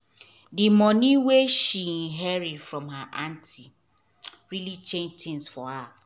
d moni wey she inherit from her anty really change tins for her